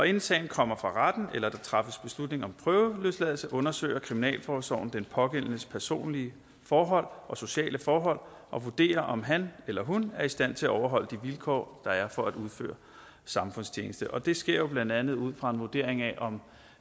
inden sagen kommer for retten eller der træffes beslutning om prøveløsladelse undersøger kriminalforsorgen den pågældendes personlige forhold og sociale forhold og vurderer om han eller hun er i stand til overholde de vilkår der er for at udføre samfundstjeneste og det sker jo blandt andet ud fra en vurdering af om